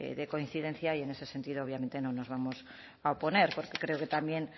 de coincidencia y en ese sentido obviamente no nos vamos a oponer porque creo que también